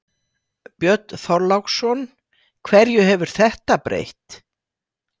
Björn Þorláksson: Hverju hefur þetta breytt?